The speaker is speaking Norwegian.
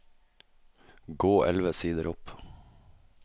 Gå elleve sider opp